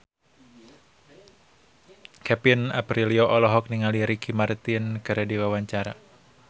Kevin Aprilio olohok ningali Ricky Martin keur diwawancara